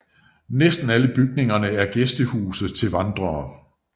Næsten alle bygningerne er gæstehuse til vandrere